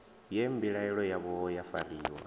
ye mbilaelo yavho ya fariwa